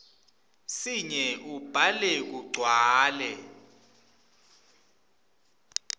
sinye ubhale kugcwale